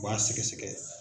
U b'a sɛgɛsɛgɛ.